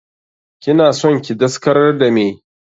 Kina son ki daskarar da meh?